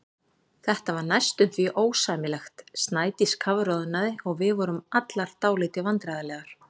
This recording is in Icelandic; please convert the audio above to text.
Þetta var næstum því ósæmilegt, Snædís kafroðnaði og við vorum allar dálítið vandræðalegar.